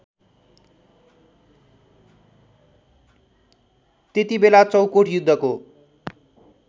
त्यतिबेला चौकोट युद्धको